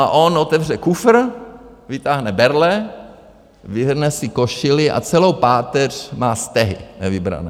A on otevře kufr, vytáhne berle, vyhrne si košili a celou páteř má stehy, nevybrané.